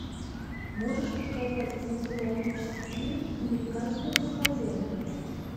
можешь показать кинематографический фильм американская домохозяйка